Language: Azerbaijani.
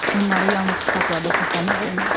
Onları yalnız kitablarda saxlamaq olmaz.